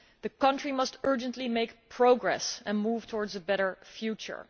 The country must urgently make progress and move towards a better future.